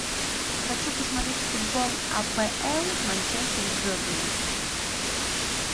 хочу посмотреть футбол апл манчестер с бернли